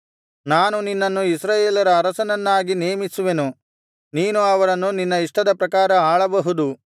ನಾನು ನಿನ್ನನ್ನು ಇಸ್ರಾಯೇಲರ ಅರಸನನ್ನಾಗಿ ನೇಮಿಸುವೆನು ನೀನು ಅವರನ್ನು ನಿನ್ನ ಇಷ್ಟದ ಪ್ರಕಾರ ಆಳಬಹುದು